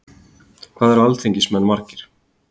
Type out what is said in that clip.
hvað eru alþingismenn margir